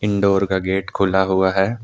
Door का gate खुला हुआ है।